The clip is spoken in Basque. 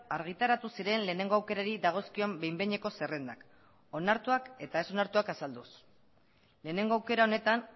argitaratu ziren lehenengo aukerari dagozkion behin behineko zerrendak onartuak eta ez onartuak azalduz lehenengo aukera honetan